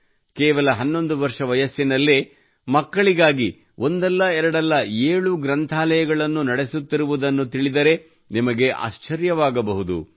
ಕೇವಲ 11 ವರ್ಷ ವಯಸ್ಸಿನಲ್ಲೇ ಮಕ್ಕಳಿಗಾಗಿ ಒಂದಲ್ಲ ಎರಡಲ್ಲ ಏಳು ಗ್ರಂಥಾಲಯಗಳನ್ನು ನಡೆಸುತ್ತಿರುವುದನ್ನು ತಿಳಿದರೆ ನಿಮಗೆ ಆಶ್ಚರ್ಯವಾಗಬಹುದು